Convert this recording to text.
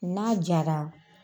N'a jara